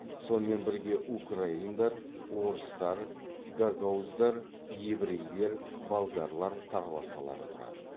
сонымен бірге украиндар орыстар гагауздар еврейлер болгарлар тағы басқалары тұрады